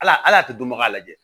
Ala ala a tɛ dɔnbaga lajɛ